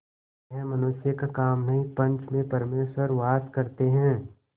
यह मनुष्य का काम नहीं पंच में परमेश्वर वास करते हैं